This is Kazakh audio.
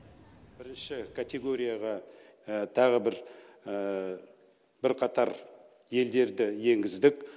бірінші категорияға тағы бір бірқатар елдерді енгіздік